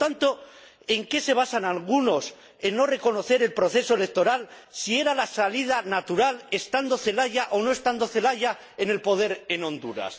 Por lo tanto, ¿en qué se basan algunos para no reconocer el proceso electoral, si era la salida natural, estando Zelaya o no estando Zelaya en el poder en Honduras?